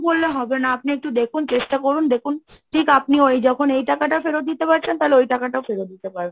করলে হবে না? আপনি একটু দেখুন? চেষ্টা করুন? দেখুন? ঠিক আপনি ওই যখন এই টাকাটা ফেরত দিতে পারছেন, তাহলে ওই টাকাটা ফেরত দিতে পারবেন।